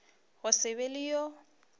go se be le yo